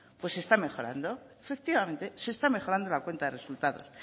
pues está mejorando efectivamente se está mejorando la cuenta de resultados